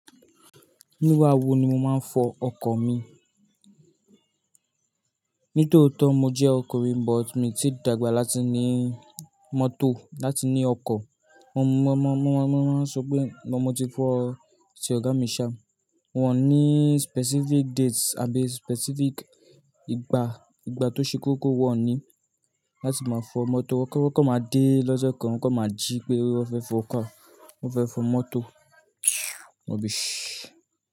Ní wá wò ni mo máa ń fọ ọkọ̀ mi? Nítòótọ́ mo jẹ́ ọkùnrin, but mi ti dàgbà láti ní mọ́tò, láti ní ọkọ̀. Mo, mo, mo, mo máa ń sọ pé máa but mo ti fọ̀ tí ọ̀gá mi ṣá. Wọ́n ò ní specific dates àbí specific ìgbà, ìgbà tó ṣe kókó wọ́n ò ní láti máa fọ mọ́tò. Wọ́n kọ́ máa dé lọ́jọ́ kan, wọn kọ́ máa jí pé wọ́n fẹ́ fọ ọkọ̀, wọ́n fẹ́ fọ mọ́tò.